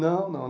Não, não.